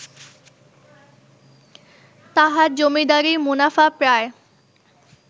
তাঁহার জমীদারীর মুনাফা প্রায়